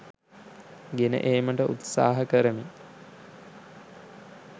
ගෙන ඒමට උත්සහ කරමි